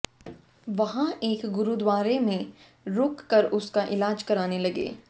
वहां एक गुरुद्वारा में रुक कर उसका इलाज कराने लगे